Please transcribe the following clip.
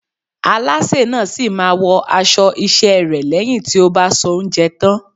Alásè náà sì máa wọ aṣọ iṣẹ́ rẹ̀ lẹ́yìn tí ó bá soúnjẹ tán.